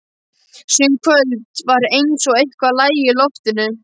Sum kvöld var eins og eitthvað lægi í loftinu.